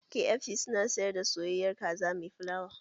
KFC su na sayar da soyayyar kaza mai fulawa